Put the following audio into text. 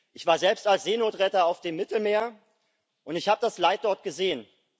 Ich war selbst als Seenotretter auf dem Mittelmeer, und ich habe das Leid dort gesehen.